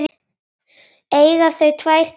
Eiga þau tvær dætur.